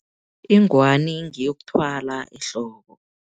Ingwani ngeyokuthwala ehloko.